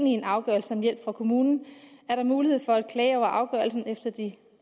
i en afgørelse om hjælp fra kommunen er der mulighed for at klage over afgørelsen efter de